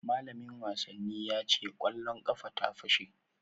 Malamin wasannin ya ce kwallon ƙafa ta fashe